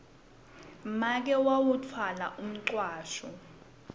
make wawutfwala umcwasho